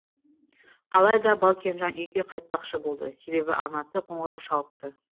алайда балкенжан үйге қайтпақшы болды себебі анасы қоңырау шалыпты